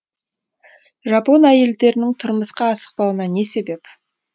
жапон әйелдерінің тұрмысқа асықпауына не себеп